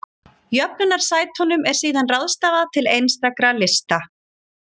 Jöfnunarsætunum er síðan ráðstafað til einstakra lista.